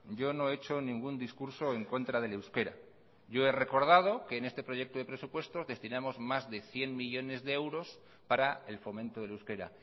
yo no he hecho ningún discurso en contra del euskera yo he recordado que en este proyecto de presupuestos destinamos más de cien millónes de euros para el fomento del euskera